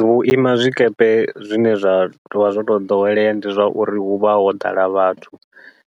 Vhuima zwikepe zwine zwa tovha zwo tou ḓowelea ndi zwa uri huvha ho ḓala vhathu,